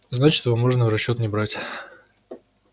значит его можно в расчёт не брать